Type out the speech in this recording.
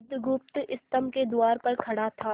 बुधगुप्त स्तंभ के द्वार पर खड़ा था